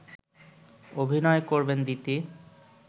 অভিনয় করবেন দিতি